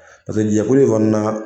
Pase jɛkulu in fana na.